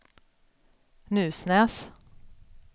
Nusnäs